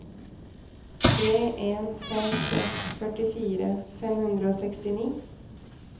tre en fem seks førtifire fem hundre og sekstini